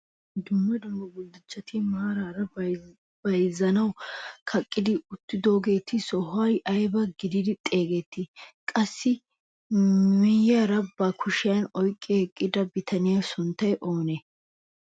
Dumma dumma guduchchati maarara bayzzanawu kaqetti uttido sohuwaa aybaa giidi xeegiyoo? qaasi miyiyaarakka ba kushiyaa oyqqi eqqida bitaniyaa sunttay oonee?